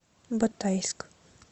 батайск